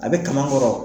A bɛ kaman kɔrɔ